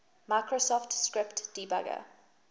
microsoft script debugger